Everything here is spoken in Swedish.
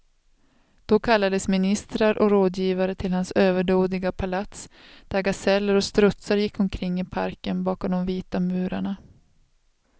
Då kallades ministrar och rådgivare till hans överdådiga palats, där gaseller och strutsar gick omkring i parken bakom de vita murarna.